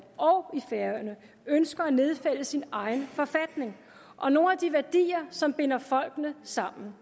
og i færøerne ønsker at nedfælde sin egen forfatning og nogle af de værdier som binder folkene sammen